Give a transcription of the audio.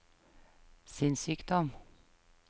sinnssykdom